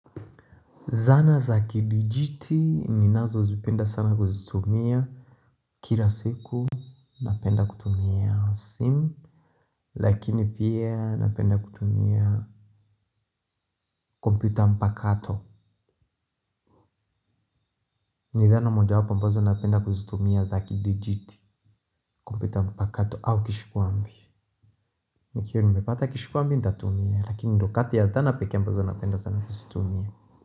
Zana za kidijiti ninazozipenda sana kuzitumia. Kila siku napenda kutumia simu. Lakini pia napenda kutumia kompyuta mpakato. Ni zana mojawapo ambazo napenda kuzitumia za kilijiti kompyuta mpakato au kishikuambi. Nikiwa nimepata kishikuambi ntatumia lakini ndo kati ya zana peke ambazo napenda sana kuzitumia.